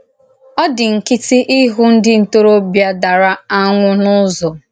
Ó dì nkịtị íhù ndí ntóròbìà dàrà ànwụ́ na Ụ̀zọ.